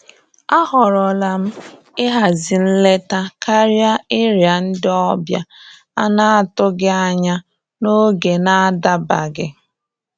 À họ́rọ́lá m íhází nlétá kárịá íriá ndí ọ́bịà à nà-àtụghí ányá n’ógé nà-àdábaghí.